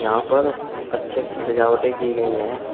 यहां पर अच्छी अच्छी सजावटें की गई हैं।